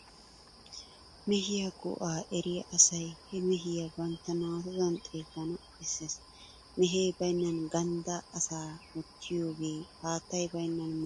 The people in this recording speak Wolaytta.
Mehiya go"aa eriya asay he mehiya bantta naatudan xeellana bessees. Mehee baynnan ganddaa asaa wottiyogee hattay Baynnasan moliya wottiyogaa mala.